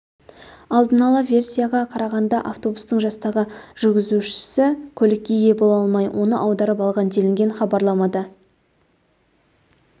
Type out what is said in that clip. алдын ала версияға қарағанда автобустың жастағы жүргізушісі көлікке ие бола алмай оны аударып алған делінген хабарламада